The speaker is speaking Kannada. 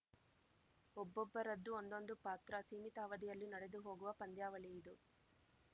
ಒಬ್ಬೊಬ್ಬರದ್ದು ಒಂದೊಂದು ಪಾತ್ರ ಸೀಮಿತ ಅವಧಿಯಲ್ಲಿ ನಡೆದು ಹೋಗುವ ಪಂದ್ಯಾವಳಿಯಿದು